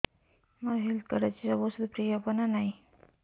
ମୋର health card ଅଛି ସବୁ ଔଷଧ ଫ୍ରି ହବ ନା ନାହିଁ